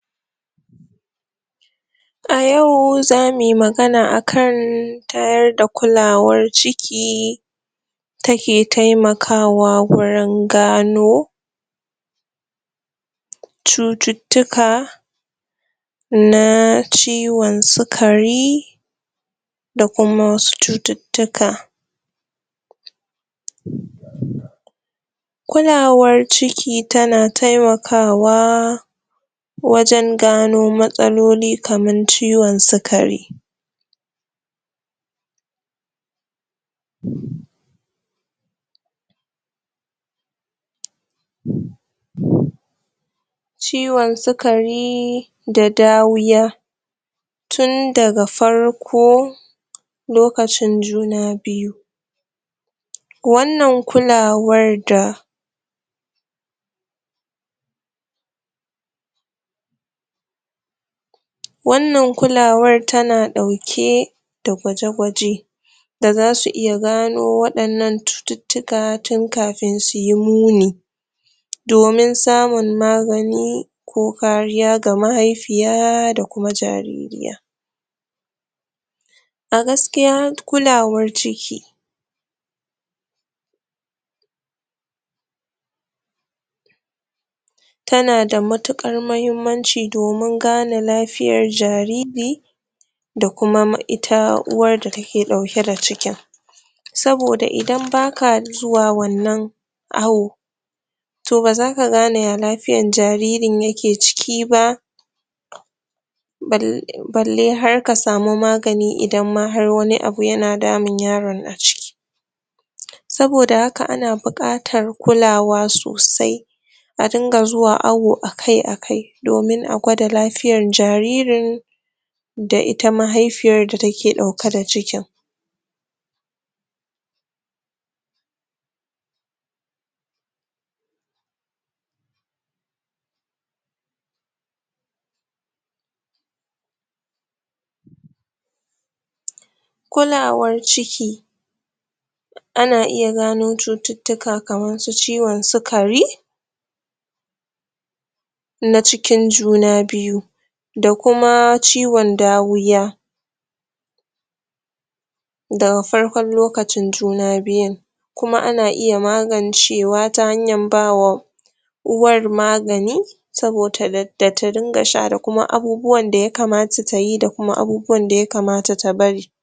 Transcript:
Yau za mui magana akan ta yarda kulawar ciki take taimakawa wurin gano cututtuka na ciwon sukari da kuma wasu cututtuka um kulawar ciki tana taimakawa wajen gano matsaloli kamar ciwon sukari um um um ciwon sukari da dawiya tun daga farko lokacin juna biyu wannan kulawar da wannan kulawar tana ɗauke da gwaje-gwaje ba za su iya gano waɗannan cututtuka tun kafin su su yi muni domin samun magani ko kariya ga mahaifiya da kuma jaririya a gaskiya kulawar ciki tana da matuƙar muhimmanci domin gane lafiyar jariri da kuma ma ita uwa da take ɗauke da cikin saboda idan baka zuwa wannan awo to ba zaka gane ya lafiyar jaririn yake ciki ba bal balle har ka samu magani idan ma har wani abu yan damun yaron a ciki saboda haka ana buƙatar kulawa sosai a dinga zuwa awo akai-akai domin a gwada lafiyar jaririn da ita mahaifiyar da take ɗauke da cikin kulawar ciki ana iya gano cututtuka kamar su ciwon sukari na cikin juna biyu da kuma ciwon dawiya da farkon lokacin juna biyu kuma ana iya magancewa ta hanyar ba wa uwar magani sabota da ta dinga sha da kuma abubuwan da ya kamata ta yi da kuma abubuwa da yakamata ta bari